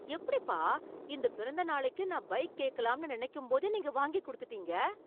எப்படிப்பா இந்த பிறந்த நாளைக்கு நான் பைக் கேக்கலாம்னு நினைக்கும்போதே நீங்க வாங்கி கொடுத்துட்டீங்க